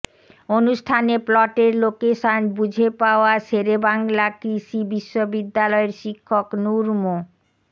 অনুষ্ঠানে প্লটের লোকেশন বুঝে পাওয়া শেরেবাংলা কৃষি বিশ্ববিদ্যালয়ের শিক্ষক নূর মো